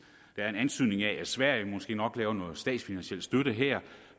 der er en antydning af at sverige måske nok yder noget statsfinansieret støtte her